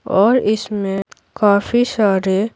और इसमें काफी सारे--